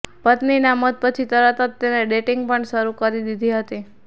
પત્નીના મોત પછી તરત જ તેને ડેટિંગ પણ શરૂ કરી દીધી હતી